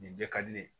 Nin jɛ ka di ne ye